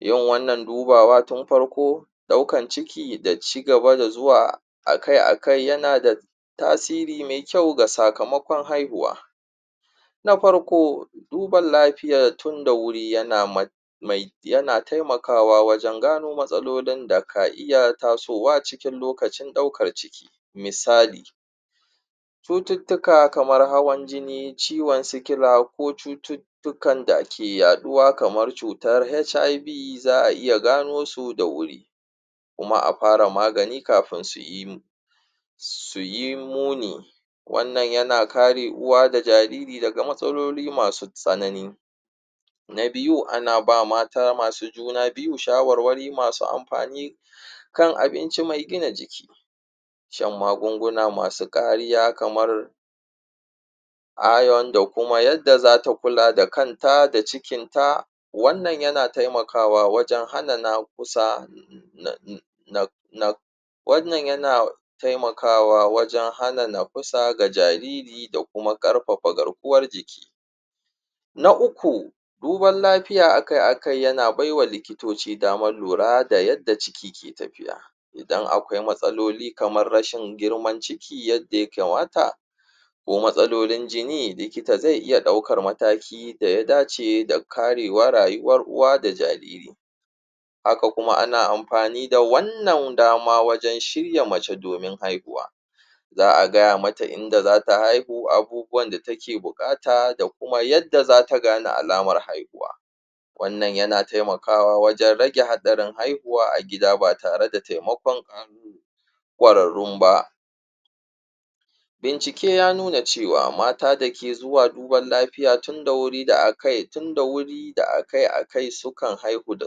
yin wannna dubawa tun farko ɗaukan ciki da cigaba da zuwa akai akai yana da tasiri me kyau a sakamaƙon haihuwa na farko duban lafiyar tun da wuri yana taimakawa wajan gano matsalolin da ka iya tasowa cikin lokacin ɗaukar ciki misali cututtuka kamar hawan jini ciwan sikila ko cututtukan da ake yaɗuwa kamar cutar HiV za a iya ganosu da wuri kuma a fara magani kafin suyi muni wannan yana kare uwa da jariri daga matsaloli masu tsanani na biyu ana bawa mata masu juna biyu shawarwari masu amfani kan abinci me gina jiki shan magunguna masu ƙariya kamar iron da kuma yadda zata kula da kanta da cikin ta wannan yana taimakawa wajan hana na kusa wannan yana taimakawa wajan na kusa ga jariri da kuma ƙarfafa garkuwar jiki na uku duban lafiya akai akai yana baiwa likitoci damar lura da yadda ciki ke tafiya idan aƙwai matsaloli kamar rashin girman ciki yadda ya kamata ko matsalolin jini likita zai iya ɗaukar mataki da ya dace karewar rayuwar uwa da jariri haka kuma ana amfani da wannan dama wajan shirya mace domin haihuwa za a gaya mata inda zata haihu abubuwan da take buƙata da kuma yadda yadda zata gane akamar haihuwa wannan yana taimakawa wajan rage haɗarin haihuwa a gida ba tare da taimaƙon ƙwararrun ba bincike ya nuna cewa mata dake zuwa duban lafiya tun da wuri da akai kai tun da wuri da akai akai sukan haihu da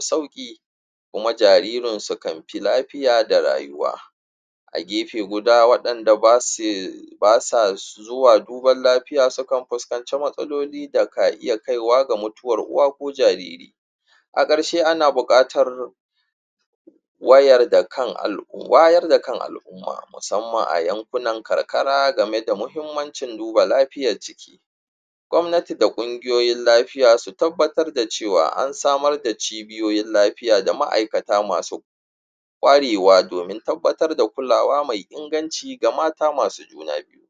sauƙi kuma jaririn sukai fi lafiya da rayuwa a gefe guda waɗanda basa zuwa gwamnati da kungiyoyin lafiya su tabbatar da cewa ansamar da cibiyoyin lafiya da ma'aikata masu ƙwarewa domin tabbatar da kulawa mai inganci ga mata masu juna biyu